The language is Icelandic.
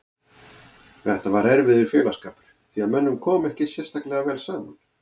Þetta var erfiður félagsskapur því að mönnum kom ekki sérstaklega vel saman.